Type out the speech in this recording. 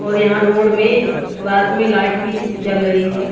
और यहां रोड में रात में लाइट भी जल रही है।